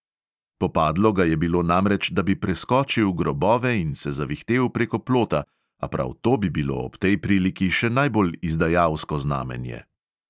Popadlo ga je bilo namreč, da bi preskočil grobove in se zavihtel preko plota, a prav to bi bilo ob tej priliki še najbolj izdajalsko znamenje.